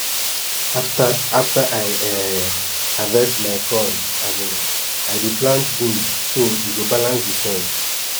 after after i um harvest my corn um i dey plant beans so e go balance de soil